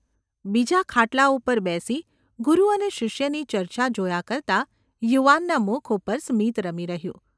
’​ બીજા ખાટલા ઉપર બેસી ગુરુ અને શિષ્યની ચર્ચા જોયા કરતા યુવાનના મુખ ઉપર સ્મિત રમી રહ્યું.